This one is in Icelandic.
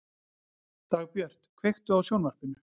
Dagbjört, kveiktu á sjónvarpinu.